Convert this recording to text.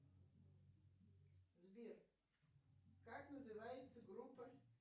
сбер как называется группа